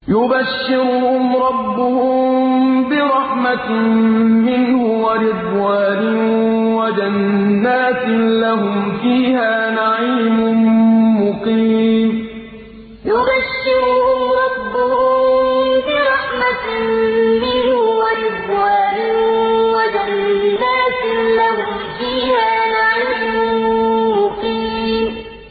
يُبَشِّرُهُمْ رَبُّهُم بِرَحْمَةٍ مِّنْهُ وَرِضْوَانٍ وَجَنَّاتٍ لَّهُمْ فِيهَا نَعِيمٌ مُّقِيمٌ يُبَشِّرُهُمْ رَبُّهُم بِرَحْمَةٍ مِّنْهُ وَرِضْوَانٍ وَجَنَّاتٍ لَّهُمْ فِيهَا نَعِيمٌ مُّقِيمٌ